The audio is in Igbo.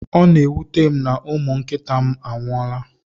Ọ na-ewuta m na umụ nkịta m anwuola.